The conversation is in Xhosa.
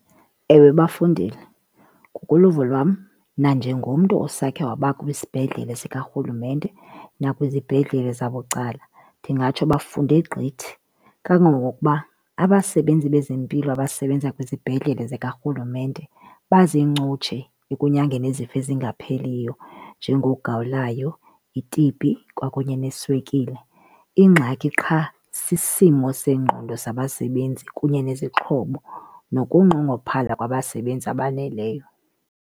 Ewe bafundile. Ngokoluvo lwam nanjengomntu osekhe wabakwisibhedlele sikarhulumente nakwizibhedlele zabucala ndingatsho bafunde gqithi. Kangangokuba abasebenzi bezempilo abasebenza kwizibhedlele zikarhulumente bazincutshe ekunyangeni izifo ezingapheliyo njengogawulayo, i-T_B kwakunye neswekile. Ingxaki qha sisimo sengqondo sabasebenzi kunye nezixhobo nokunqongophala kwabasebenzi abaneleyo.